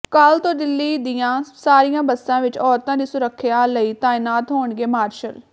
ਕੱਲ੍ਹ ਤੋਂ ਦਿੱਲੀ ਦੀਆਂ ਸਾਰੀਆਂ ਬੱਸਾਂ ਵਿਚ ਔਰਤਾਂ ਦੀ ਸੁਰੱਖਿਆ ਲਈ ਤਾਇਨਾਤ ਹੋਣਗੇ ਮਾਰਸ਼ਲ